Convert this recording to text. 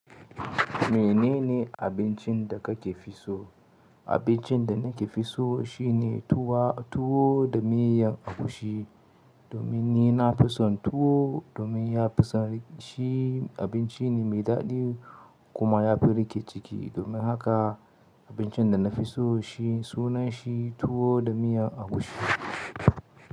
Menene abincin da kake fi so? Abincin da nake fi so, shine tuwa, tuwo da miyan agushi. Domin ni na fi son tuwo, domin ya fi sani, shi abinci ne mai daɗi, kuma ya fi riƙe ciki. Domin haka abincin da na fi so, shi sunan shi tuwo da miyan agushi.